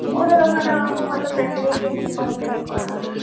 ওদের ওখানে ওরকম একটা facility নেই complain করার